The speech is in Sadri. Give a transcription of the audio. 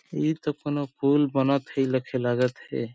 इ तो कौनों पुल बनत हे लेखे लागत हे।